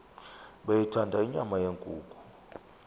beyithanda inyama yenkukhu